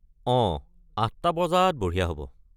অঁ, আঠটা বজাত বঢ়িয়া হ’ব।